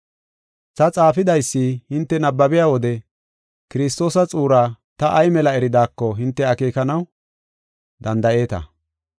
Ta xaafidaysa hinte nabbabiya wode Kiristoosa xuuraa ta ay mela eridaako hinte akeekanaw danda7eeta.